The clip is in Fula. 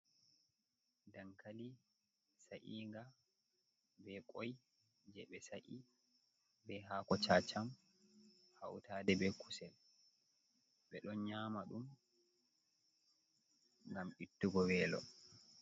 Dankali sa inga be koi je ɓe sa’i, be hako chacam hautade be kusel be ɗon nyama ɗum gam ittugo welo.